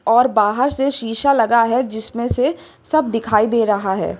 और बाहर से शीशा लगा है जिसमें से सब दिखाई दे रहा है।